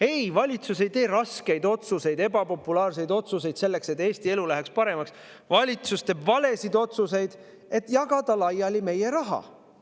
Ei, valitsus ei tee raskeid ebapopulaarseid otsuseid selleks, et Eesti elu läheks paremaks, valitsus teeb valesid otsuseid, et jagada laiali meie raha.